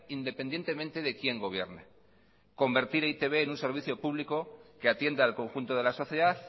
independientemente de quién gobierne convertir a e i te be en un servicio público que atiende al conjunto de la sociedad